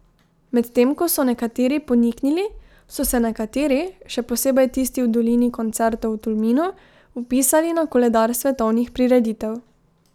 Medtem ko so nekateri poniknili, so se nekateri, še posebej tisti v Dolini koncertov v Tolminu, vpisali na koledar svetovnih prireditev.